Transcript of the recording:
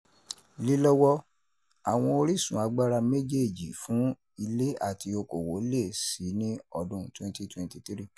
Lílọ́wọ́, àwọn orísun agbára méjèèjì fún ilé àti okòwò le è síi ní ọdún twenty twenty three.